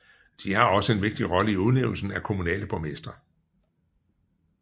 De har også en vigtig rolle i udnævnelsen af kommunale borgmestre